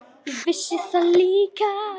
Ég vissi það líka.